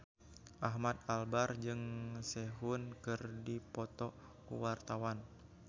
Ahmad Albar jeung Sehun keur dipoto ku wartawan